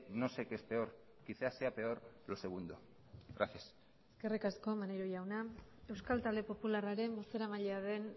no sé qué es peor quizá sea peor lo segundo gracias eskerrik asko maneiro jauna euskal talde popularraren bozeramailea den